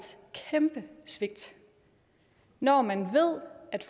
kæmpe svigt når man ved at